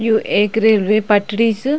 यु ऐक रेलवे पटरी च।